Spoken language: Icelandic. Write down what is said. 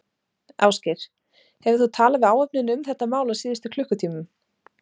Ásgeir: Hefur þú talað við áhöfnina um þetta mál á síðustu klukkutímum?